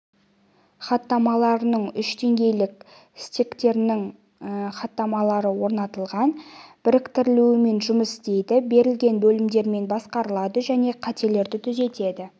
хаттамаларының үш деңгейлік стектерінің хаттамалары орнатылған біріктірулермен жұмыс істейді берілген бөлімдермен басқарылады және қателерді түзетеді